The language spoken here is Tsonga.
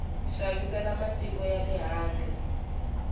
xavisela matiko ya le handle